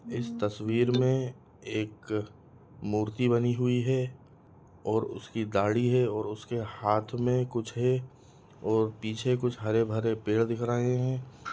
इस तस्वीर मे एक मूर्ति बनी हुई है और उसकी दाड़ी है और उसके हाथ मे कुछ है और पीछे कुछ हरे-भरे पेड़ दिख रहे हैं।